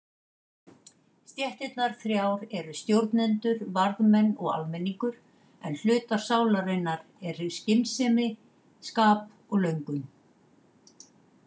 Stéttirnar þrjár eru stjórnendur, varðmenn og almenningur en hlutar sálarinnar eru skynsemi, skap og löngun.